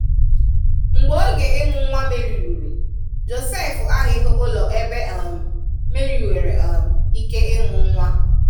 Mgbe oge ịmụ nwa Mary rùrù, Josef ahụ̀ghị ụlọ ebe um Mary nwere um ike ịmụ nwa.